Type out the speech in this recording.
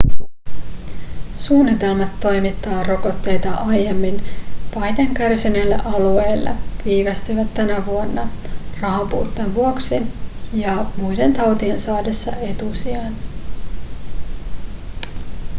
suunnitelmat toimittaa rokotteita aiemmin pahiten kärsineille alueille viivästyivät tänä vuonna rahanpuutteen vuoksi ja muiden tautien saadessa etusijan